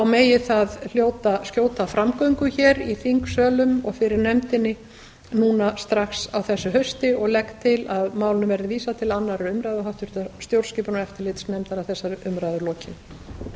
megi það hljóta skjóta framgöngu hér í þingsölum og fyrir nefndinni núna strax á þessu hausti og legg til að málinu verði vísað til annarrar umræðu og háttvirtrar stjórnskipunar og eftirlitsnefndar að þessari umræðu lokinni